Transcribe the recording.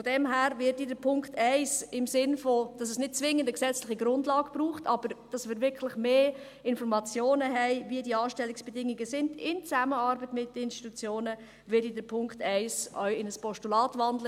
Von daher werde ich den Punkt 1 im Sinne davon, dass es nicht zwingend eine gesetzliche Grundlage braucht, aber dass wir wirklich mehr Informationen haben, wie die Anstellungsbedingungen sind – in Zusammenarbeit mit den Institutionen –, auch in ein Postulat wandeln.